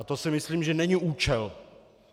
A to si myslím, že není účel.